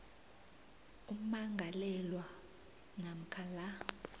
ummangalelwa namkha la